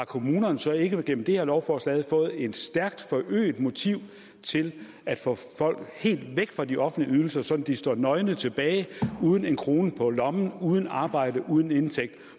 kommunerne så ikke igennem det her lovforslag fået et stærkt forøget motiv til at få folk helt væk fra de offentlige ydelser sådan at de står nøgne tilbage uden en krone på lommen uden arbejde uden indtægt